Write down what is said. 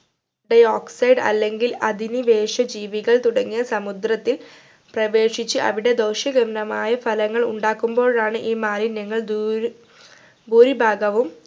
dioxide അല്ലെങ്കിൽ അധിനിവേശ ജീവികൾ തുടങ്ങിയ സമുദ്രത്തിൽ പ്രവേശിച്ച് അവിടെ ദോഷ്യഗന്ധമായ ഫലങ്ങൾ ഉണ്ടാക്കുമ്പോഴാണ് ഈ മാലിന്യങ്ങൾ ദൂരെ ഭൂരിഭാഗവും